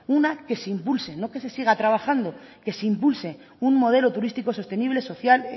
una que se impulse no que se siga trabajando que se impulse un modelo turístico sostenible social